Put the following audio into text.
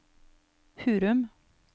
Hurum